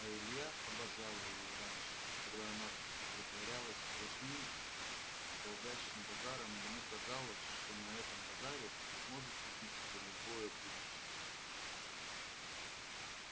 а илья обожал её раньше когда она притворялась сплошным галдящим базаром ему казалось что на этом базаре он сможет купить себе любое будущее